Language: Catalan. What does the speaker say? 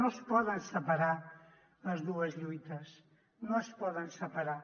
no es poden separar les dues lluites no es poden separar